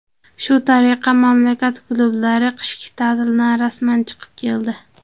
Shu tariqa mamlakat klublari qishki ta’tildan rasman chiqib keldi.